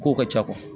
Kow ka ca